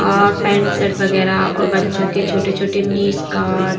और pant -shirt वगैरह और बच्चों के छोटे-छोटे मिनी -स्कर्ट --